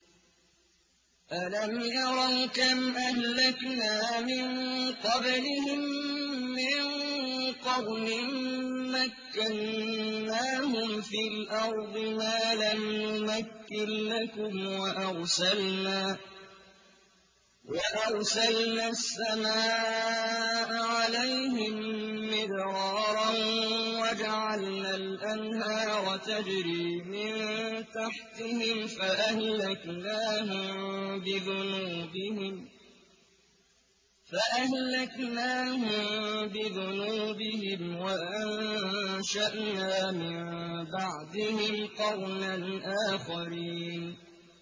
أَلَمْ يَرَوْا كَمْ أَهْلَكْنَا مِن قَبْلِهِم مِّن قَرْنٍ مَّكَّنَّاهُمْ فِي الْأَرْضِ مَا لَمْ نُمَكِّن لَّكُمْ وَأَرْسَلْنَا السَّمَاءَ عَلَيْهِم مِّدْرَارًا وَجَعَلْنَا الْأَنْهَارَ تَجْرِي مِن تَحْتِهِمْ فَأَهْلَكْنَاهُم بِذُنُوبِهِمْ وَأَنشَأْنَا مِن بَعْدِهِمْ قَرْنًا آخَرِينَ